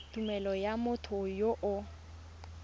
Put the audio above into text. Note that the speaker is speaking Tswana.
tumelelo ya motho yo o